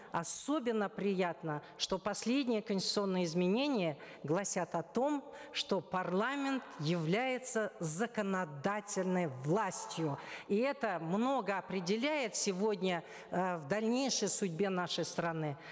особенно приятно что последние конституционные изменения гласят о том что парламент является законодательной властью и это много определяет сегодня э в дальнейшей судьбе нашей страны